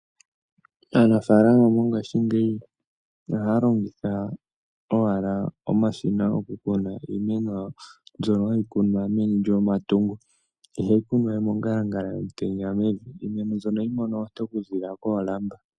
Aanafaalama mongashingeyi oha ya longitha, omashina goku kuna iimeno mbyo ha yi kunwa meni lyetungo, iha yi kunwa mongalangala yomutenya, ihe iimeno mbino oha yi mono oonte oku zilila koolamba.